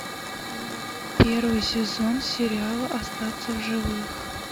первый сезон сериала остаться в живых